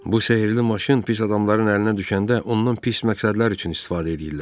Bu sehirli maşın pis adamların əlinə düşəndə ondan pis məqsədlər üçün istifadə edirlər.